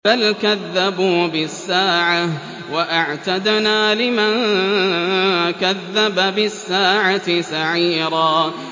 بَلْ كَذَّبُوا بِالسَّاعَةِ ۖ وَأَعْتَدْنَا لِمَن كَذَّبَ بِالسَّاعَةِ سَعِيرًا